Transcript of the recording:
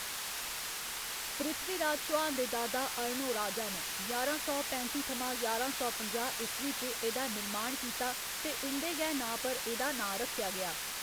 पृथ्वीराज चौहान दे दादा अर्णोराजा न ञारां सौ पैंत्ती थमां ञारां सौ पंजाह्‌ ईस्वी च एह्‌‌‌दा निर्माण कीता ते उं'दे गै नांऽ पर एह्‌‌‌दा नांऽ रक्खेआ गेआ।